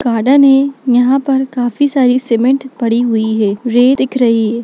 Garden है यहाँ पर काफी सारी सिमेन्ट पड़ी हुई है रेत दिख रही है।